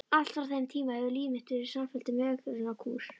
Allt frá þeim tíma hefur líf mitt verið samfelldur megrunarkúr.